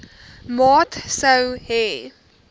maat sou hê